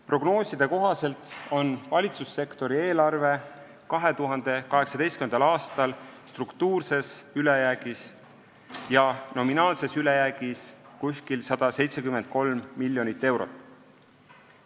Prognooside kohaselt on valitsussektori eelarve 2018. aastal struktuurses ülejäägis ja nominaalne ülejääk on umbes 173 miljonit eurot.